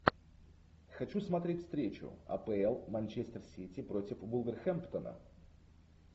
хочу смотреть встречу апл манчестер сити против вулверхэмптона